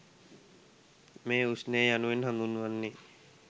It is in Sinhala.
මේ ඌෂ්ණය යනුවෙන් හඳුන්වන්නේ